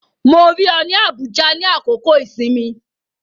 Mo rí ọ ní Abuja nínú àkókò-ìsinmi